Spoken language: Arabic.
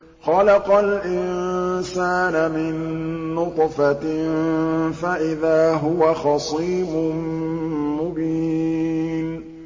خَلَقَ الْإِنسَانَ مِن نُّطْفَةٍ فَإِذَا هُوَ خَصِيمٌ مُّبِينٌ